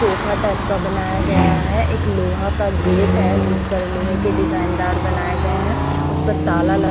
sofa type का बनाया गया है एक लोहा का गेट है जिसपर लोहे के डिजाइन दार बनाए गए हैं उस पर ताला लगा--